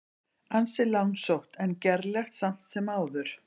Ansi langsótt en gerlegt samt sem áður.